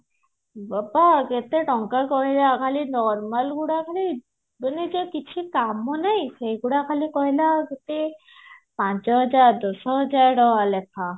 ବାବା କେତେ ଟଙ୍କା କହିଲା ଖାଲି normal ଗୁଡା ଖାଲି ମନେ ସେ କିଛି କାମ ନାଇଁ ସେଗୁଡା ଖାଲି କହିଲା କେତେ ପାଞ୍ଚ ହଜାର ଦଶ ହଜାର ଟଙ୍କା ଲେଖା